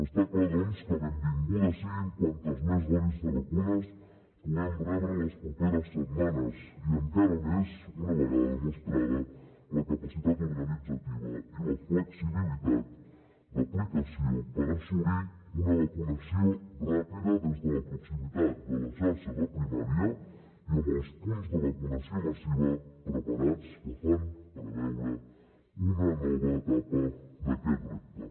està clar doncs que benvingudes siguin quantes més dosis de vacunes puguem rebre les properes setmanes i encara més una vegada demostrada la capacitat organitzativa i la flexibilitat d’aplicació per assolir una vacunació ràpida des de la proximitat de la xarxa de primària i amb els punts de vacunació massiva preparats que fan preveure una nova etapa d’aquest repte